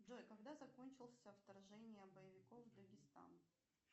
джой когда закончился вторжение боевиков в дагестан